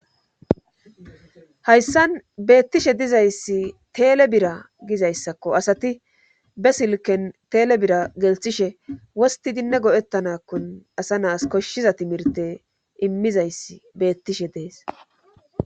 hayssan beettishe dizayssi teele bira gizayssakko asati be silken teele bira gelthishe wosti dinne godettanakkon asa naas koshshiza timirte immizayssi beettishe dees